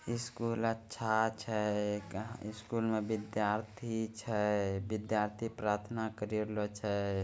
इ स्कूल अच्छा छै। स्कूल में विधार्थी छै। विधार्थी प्रार्थना क़री रेलो छै।